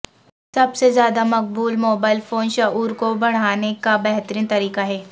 سب سے زیادہ مقبول موبائل فون شعور کو بڑھانے کا بہترین طریقہ ہے